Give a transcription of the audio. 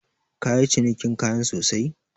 Kayi cikinin kayan sosai?